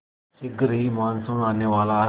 शीघ्र ही मानसून आने वाला है